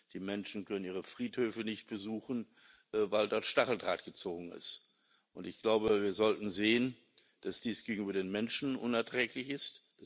Die Menschen können ihre Friedhöfe nicht besuchen, weil dort Stacheldraht gezogen ist. Wir sollten sehen, dass dies gegenüber den Menschen unerträglich ist.